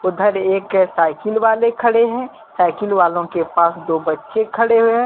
उधर एक साइकिल वाले खड़े है साइकिल वालों के पास दो बच्चे खड़े हुए हैं।